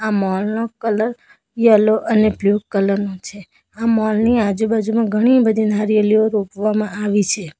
Mall નો colour yellow અને blue colour નો છે આ મોલ ની આજુબાજુમાં ઘણી બધી નારિયેળ રોપવામાં આવે છે.